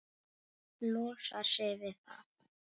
Það tístir í henni.